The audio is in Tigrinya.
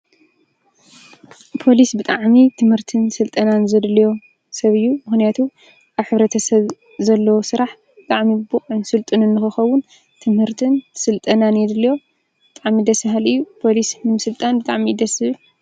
ፓሊስ ብጥዓሚ ትምህርትን ሥልጠናን ዘደለዮ ሰብ ዩ ምክንያቱ ኣብ ሕብረተሰብ ዘለዎ ሥራሕ ብዕሚ ብቕዑን ስልጥንን ኽኸውን ትምህርትን ሥልጠናን የድል ብጣዕሚ ደሥ ብሃሊ እዩ ፖሊስ ምሥልጣን።